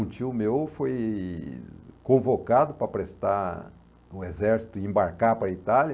Um tio meu foi convocado para prestar o exército e embarcar para a Itália.